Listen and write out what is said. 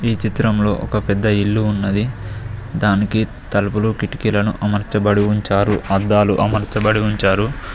ఈ చిత్రంలో ఒక పెద్ద ఇల్లు ఉన్నది దానికి తలుపులు కిటికీలను అమర్చబడి ఉంచారు అద్దాలు అమలుచబడించారు.